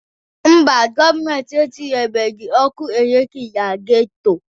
Mba, gọọmenti etinyebeghi ọkụ eletriki na geto.